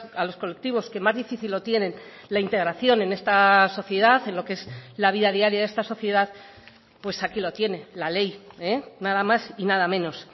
a los colectivos que más difícil lo tienen la integración en esta sociedad en lo que es la vida diaria de esta sociedad pues aquí lo tiene la ley nada más y nada menos